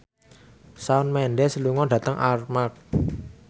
Shawn Mendes lunga dhateng Armargh